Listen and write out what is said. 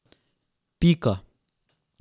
Pika!